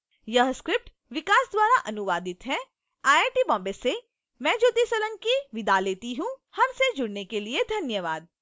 यह स्क्रिप्ट विकास द्वारा अनुवादित है आई आई टी बॉम्बे से मैं ज्योति सोलंकी आपसे विदा लेती हूँ हमसे जुड़ने के लिए धन्यवाद